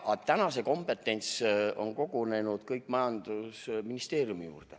Praegu on kogu see kompetents kogunenud majandusministeeriumi.